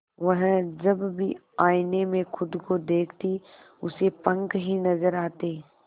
वह जब भी आईने में खुद को देखती उसे पंख ही नजर आते